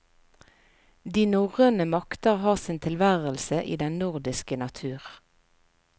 De norrøne makter har sin tilværelse i den nordiske natur.